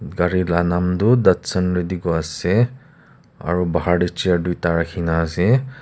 gari la naam doh datsun redi go ase aro bahar de chair duita rakhina ase.